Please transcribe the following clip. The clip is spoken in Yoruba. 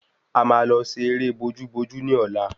A maa lọ ṣe eré bojú bojú ni ọlá